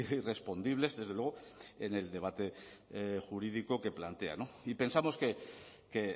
y respondibles desde luego en el debate jurídico que plantea y pensamos que